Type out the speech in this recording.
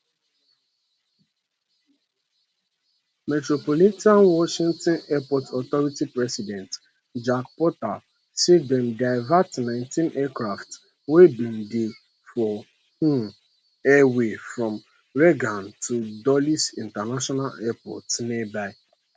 metropolitan washington airport authority president jack potter say dem divert nineteen aircrafts wey bin dey for um air away from reagan to dulles international airport nearby